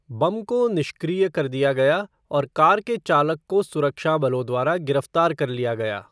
बम को निष्क्रिय कर दिया गया और कार के चालक को सुरक्षा बलों द्वारा गिरफ्तार कर लिया गया।